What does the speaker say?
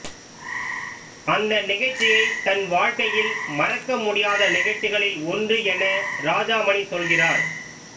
அந்த நிகழ்ச்சியைத் தன் வாழ்க்கையில் மறக்க முடியாத நிகழ்ச்சிகளில் ஒன்று என ராஜாமணி சொல்கிறார்